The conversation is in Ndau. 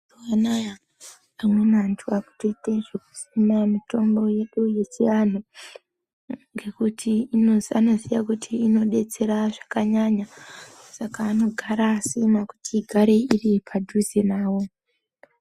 Mazuwa anaya amweni antu akutoita zvekusima mitombo yedu yechiantu. Ngekuti anoziya kuti inobetsera zvakanyanya saka anogara akasima kuti igare iri padhuze navo.